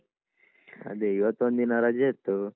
ಅದೇ ಇವತ್ತೊಂದಿನ ರಜೆ ಇತ್ತು.